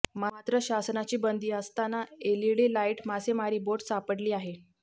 मात्र शासनाची बंदी असताना एलईडी लाईट मासेमारी बोट सापडली आहे